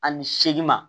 Ani seegin ma